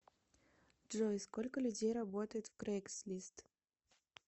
джой сколько людей работает в крейгслист